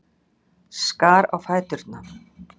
Skar á fæturna.